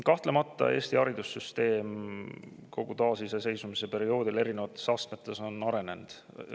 Kahtlemata on Eesti haridussüsteem kogu taasiseseisvumise perioodil erinevates astmetes arenenud.